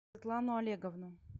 светлану олеговну